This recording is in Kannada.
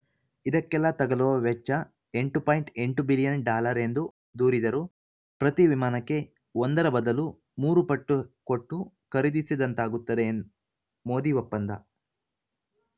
ಇದಕ್ಕೆಲ್ಲಾ ತಗಲುವ ವೆಚ್ಚ ಎಂಟು ಪಾಯಿಂಟ್ ಎಂಟು ಬಿಲಿಯನ್‌ ಡಾಲರ್‌ ಎಂದು ದೂರಿದರುಪ್ರತಿ ವಿಮಾನಕ್ಕೆ ಒಂದರ ಬದಲು ಮೂರು ಪಟ್ಟು ಕೊಟ್ಟು ಖರೀದಿಸಿದಂತಾಗುತ್ತದೆ ಮೋದಿ ಒಪ್ಪಂದ